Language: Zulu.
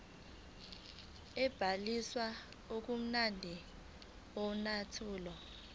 sobhaliso ngokulandela umthetho